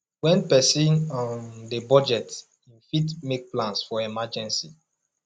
when person um dey budget im fit make plans for emergency